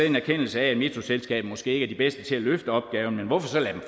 en erkendelse af at metroselskabet måske ikke er de bedste til at løfte opgaven men hvorfor så lade